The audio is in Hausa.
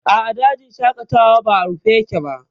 A'a, dajin shaƙatawan ba a rufe yake ba